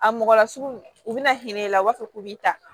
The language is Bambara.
A mɔgɔ lasigi u bɛna hinɛ i la u b'a fɔ k'u b'i ta